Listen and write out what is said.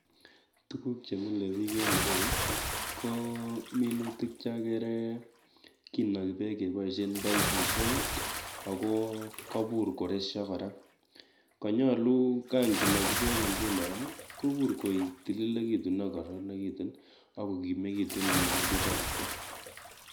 Tuguk chemile biik en yu ko minutik cheagere kinagi peek keboisie paipusiek ako kabur koresio kora, konyolu kanginagi peek nguno kogur koitililitu akokaranakitu akokimikitu minutik chatak